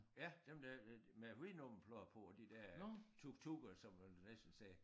Ja dem der er med hvide nummerplader på og de der tuktukker som man næsten sagde